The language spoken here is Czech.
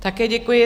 Také děkuji.